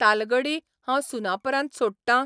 तालगडी हांव सुनापरान्त सोडटां?